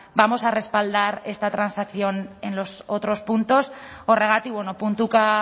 vamos a respaldar esta transacción en los otros puntos horregatik puntuka